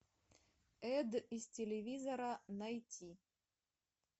эд из телевизора найти